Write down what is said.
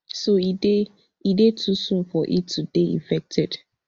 so e dey e dey too soon for it to dey effected